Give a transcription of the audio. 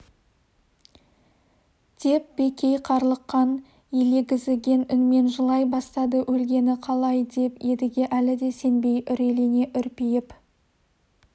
деп бекей қарлыққан елегізіген үнмен жылай бастады өлгені қалай деп едіге әлі де сенбей үрейлене үрпиіп